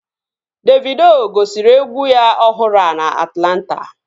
Davido gosiri egwu ya ọhụrụ a na Atlanta